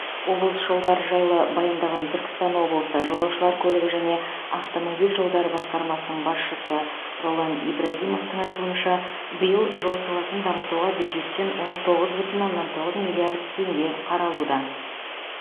облыс жолдары жайлы баяндаған түркістан облысы жолаушылар көлігі және автомобиль жолдары басқармасының басшысы ролан ибрагимовтың айтуынша биыл жол саласын дамытуға бюджеттен он тоғыз бүтін оннан тоғыз миллиард теңге қаралуда